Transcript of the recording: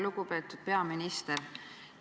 Lugupeetud peaminister!